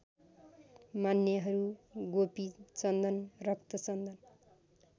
मान्नेहरू गोपीचन्दन रक्तचन्दन